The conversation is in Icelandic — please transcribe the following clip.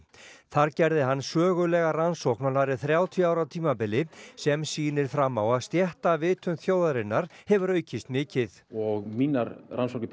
þar gerði hann sögulega rannsókn á nærri þrjátíu ára tímabili sem sýnir fram á að stéttarvitund þjóðarinnar hefur aukist mikið og mínar rannsóknir